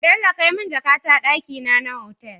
Bello kai mun jaka ta dakina na otal